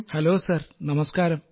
hello sir നമസ്കാരം